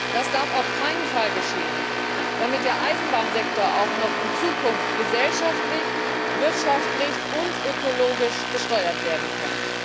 Das darf auf keinen Fall geschehen, damit der Eisenbahnsektor auch noch in Zukunft gesellschaftlich, wirtschaftlich und ökologisch gesteuert werden kann.